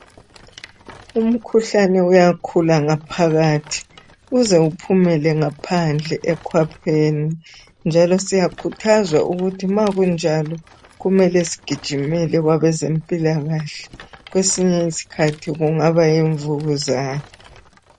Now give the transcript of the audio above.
Umkhuhlane uyakhula ngaphakathi uze uphumele ngaphandle ekwapheni, njalo siyakhuthazwa ukuthi kumele sigijimele kwabezempilakahle ngoba kwesinye isikhathi kungaba yimvukuzane.